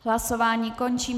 Hlasování končím.